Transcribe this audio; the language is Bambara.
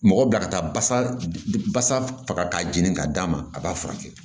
Mɔgɔ bila ka taa basa basa faga k'a jeni k'a d'a ma a b'a furakɛ